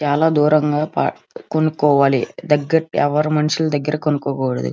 చాలా దూరంగా పా కొనుకోవాలి దెగ్గరికి ఎవరు మనుషుల దెగ్గరికి కొనుక్కోకూడదు --